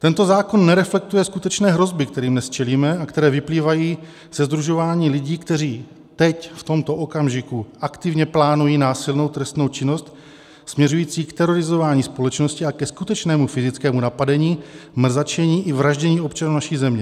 Tento zákon nereflektuje skutečné hrozby, kterým dnes čelíme a které vyplývají ze sdružování lidí, kteří teď v tomto okamžiku aktivně plánují násilnou trestnou činnost směřující k terorizování společnosti a ke skutečnému fyzickému napadení, mrzačení i vraždění občanů naší země.